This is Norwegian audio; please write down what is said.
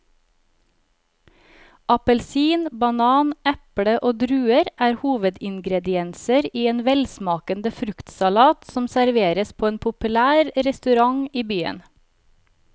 Appelsin, banan, eple og druer er hovedingredienser i en velsmakende fruktsalat som serveres på en populær restaurant i byen.